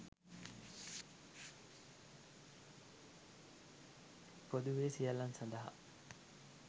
පොදුවේ සියල්ලන් සඳහා